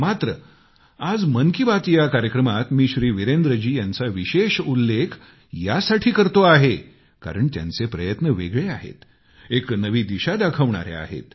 मात्र आज मन की बात या कार्यक्रमात मी वीरेंद्र जी यांचा विशेष उल्लेख यासाठी करतो आहे कारण त्यांचे प्रयत्न वेगळे आहेत एक नवी दिशा दाखवणारे आहेत